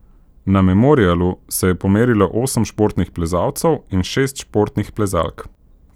Na memorialu se je pomerilo osem športnih plezalcev in šest športnih plezalk.